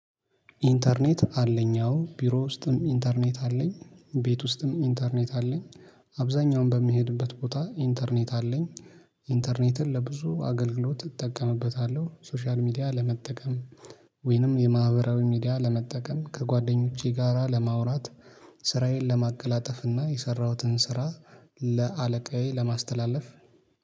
ኢንተርኔት አለኝ አዎ ቢሮ ውስጥም ኢንተርኔት አለኝ ቤት ውስጥም ኢንተርኔት አለኝ አብዛኛውን በምሄድበት ቦታ ኢንተርኔት አለኝ። ኢንተርኔትን ለብዙ አገልግሎት እጠቀምበታለሁ ሶሻል ሚዲያ ለመጠቀም ወይንም የማህበራዊ ሚዲያ ለመጠቀም ከጓደኞቼ ጋራ ለማውራት ስራዬን ለማቀላጠፍ እና የሰራሁትን ስራ ለአለቃዬ ለማስተላለፍ